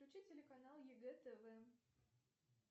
включи телеканал егэ тв